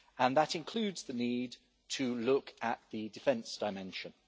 That includes the need to look at the defence dimension.